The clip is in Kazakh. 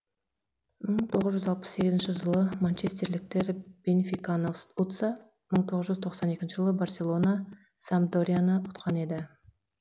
мың тоғыз жүз алпыс сегізінші жылы манчестерліктер бенфиканы ұтса мың тоғыз жүз тоқсан екінші жылы барселона сампдорияны ұтқан еді